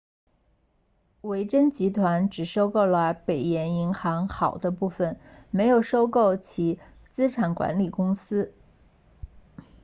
维珍集团只收购了北岩银行好的部分没有收购其资产管理公司